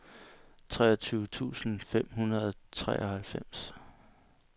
treogtyve tusind fem hundrede og treoghalvfems